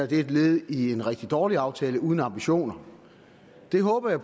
det er et led i en rigtig dårlig aftale uden ambitioner det håber jeg